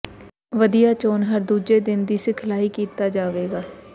ਵਧੀਆ ਚੋਣ ਹਰ ਦੂਜੇ ਦਿਨ ਦੀ ਸਿਖਲਾਈ ਕੀਤਾ ਜਾਵੇਗਾ